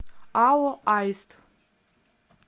ао аист